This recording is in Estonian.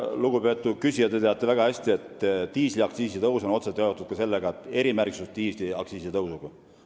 Lugupeetud küsija, te teate väga hästi, et diisliaktsiisi tõus on otseselt seotud ka erimärgistusega diisli aktsiisi tõusuga.